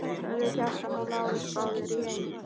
sögðu Kjartan og Lárus báðir í einu.